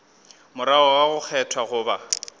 morago ga go kgethwa goba